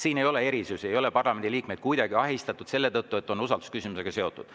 Selles ei ole erisusi, parlamendi liikmeid ei ole kuidagi ahistatud selle tõttu, et eelnõu on usaldusküsimusega seotud.